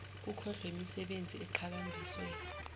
kukhohlwe yimisebenzi eqhakambiswe